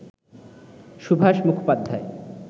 Subhash Mukhopadhyay